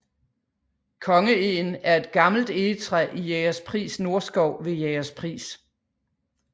Kongeegen er et gammelt egetræ i Jægerspris Nordskov ved Jægerspris